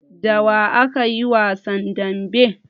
Da wa aka yi wasan damben?